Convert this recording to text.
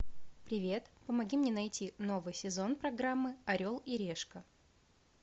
привет помоги мне найти новый сезон программы орел и решка